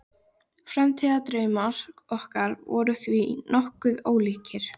Framtíðardraumar okkar voru því nokkuð ólíkir.